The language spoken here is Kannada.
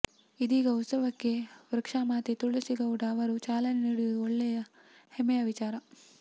ಇಂದೀನ ಉತ್ಸವಕ್ಕೆ ವೃಕ್ಷಮಾತೆ ತುಳಸಿ ಗೌಡ ಅವರು ಚಾಲನೆ ನೀಡಿರುವುದು ಒಳ್ಳೆಯ ಹೆಮ್ಮೆಯ ವಿಚಾರ